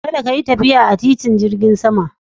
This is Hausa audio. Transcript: Kada ka yi tafiya a titin jirgin sama